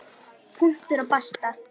Punktur og basta.